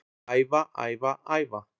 Æfa, æfa, æfa